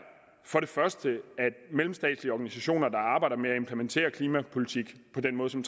for det første at mellemstatslige organisationer der arbejder med at implementere klimapolitik på den måde som